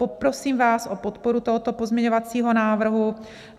Poprosím vás o podporu tohoto pozměňovacího návrhu.